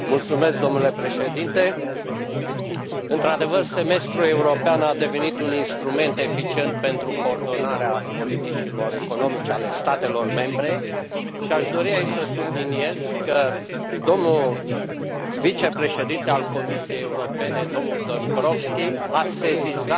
Domnule Președinte, într adevăr, semestrul european a devenit un instrument eficient pentru coordonarea politicilor economice ale statelor membre și aș dori, aici, să subliniez că vicepreședintele Comisiei Europene, domnul Dombrovskis, a sesizat